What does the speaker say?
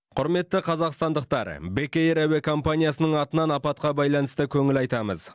құрметті қазақстандықтар бек эйр әуе компаниясының атынан апатқа байланысты көңіл айтамыз